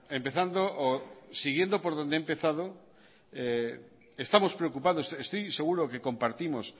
empezando o siguiendo por donde he empezado estamos preocupados estoy seguro que compartimos